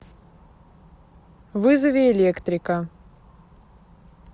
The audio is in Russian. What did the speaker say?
вызови электрика